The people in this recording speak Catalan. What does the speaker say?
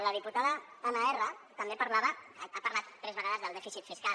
la diputada anna erra ha parlat tres vegades del dèficit fiscal